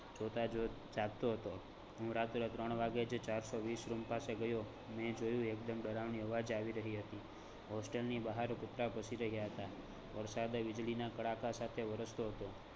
જોતા જો જાગતો હતો હું રાતે ત્રણ વાગે જ ચાર સો વીસ room પાસે ગયો ને જોયુ. એક દમ ડરાવની અવાજ આવી રહી હતી. hostel ની બહાર કૂતરા ભસી રહયા હતા, વરસાદ વીજળીના કડાકા વરસતો હતો.